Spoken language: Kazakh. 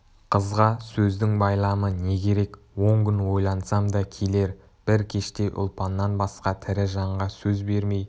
қызға сөздің байламы не керек он күн ойлансам да келер бір кеште ұлпаннан басқа тірі жанға сөз бермей